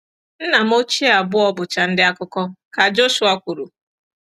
“Nna m ochie abụọ bụcha ndị akụkọ, ka Joshua kwuru.